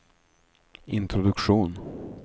introduktion